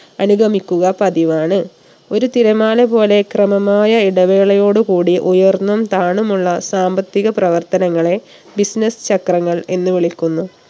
അനുഗമിക്കുക പതിവാണ്. ഒരു തിരമാല പോലെ ക്രമമായ ഇടവേളയോടു കൂടി ഉയർന്നും താണുമുള്ള സാമ്പത്തിക പ്രവർത്തനങ്ങളെ business ചക്രങ്ങൾ എന്ന് വിളിക്കുന്നു